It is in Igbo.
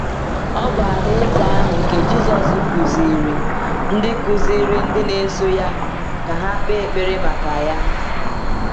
Ọ bụ Alaeze ahụ nke Jisọs kụziiri ndị kụziiri ndị na-eso ya ka ha kpee ekpere maka ya.